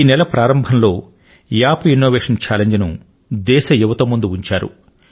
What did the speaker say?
ఈ నెల మొదట్లో యాప్ ఇన్నోవేశన్ చాలింజ్ ను దేశ యువత ముందు ఉంచారు